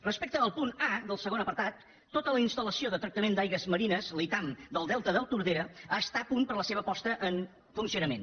respecte al punt a del segon apartat tota la instal·lació de tractament d’aigües marines la itam del delta del tordera és a punt per a la seva posada en funcionament